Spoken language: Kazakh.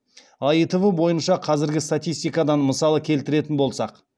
аитв бойынша қазіргі статистикадан мысалы келтіретін болсақ